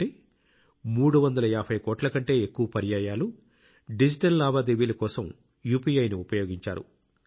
అంటే 350 కోట్ల కంటే ఎక్కువ పర్యాయాలు డిజిటల్ లావాదేవీల కోసం UPIని ఉపయోగించారు